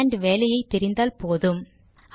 command வேலையை தெரிந்தால் போதும்